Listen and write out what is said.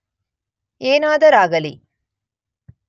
ಏನಾದರಾಗಲಿ